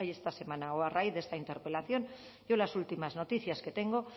esta semana o a raíz de esta interpelación yo las últimas noticias que tengo